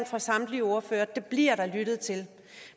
fra samtlige ordførere at der bliver lyttet til